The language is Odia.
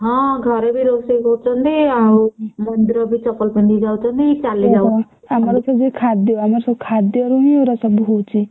ହଁ ଘରେ ବି ରୋଷେଇ କରୁଛନ୍ତି ଆଉ ମନ୍ଦିର ବି ଚପଲ ପିନ୍ଧି ଯାଉଛନ୍ତି।